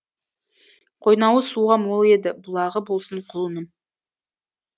қойнауы суға мол еді бұлағы болсын құлыным